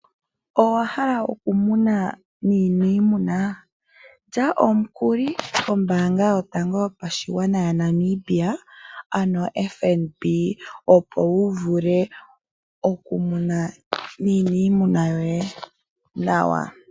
Owahala oku munu nuuniimuna? Lya omukuli kombaanga yotango yopashigwana yaNamibia, ano oFNB opo wu vule oku muna iimuna yoye nawa.